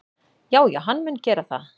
Já já, hann mun gera það.